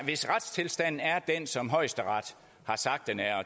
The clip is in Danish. hvis retstilstanden er den som højesteret har sagt den er